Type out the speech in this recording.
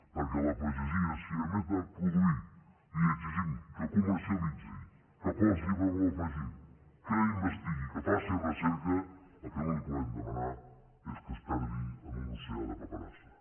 perquè a la pagesia si a més de produir li exigim que comercialitzi que posi valor afegit que investigui que faci recerca el que no li podem demanar és que es perdi en un oceà de paperassa